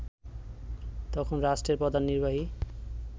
তখন রাষ্ট্রের প্রধান নির্বাহী